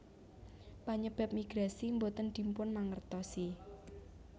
Panyebab migrasi boten dipunmangertosi